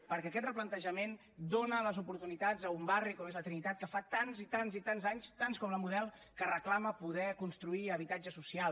perquè aquest replantejament dona les oportunitats a un barri com és la trinitat que fa tants i tants i tants anys tants com la model que reclama poder construir habitatge social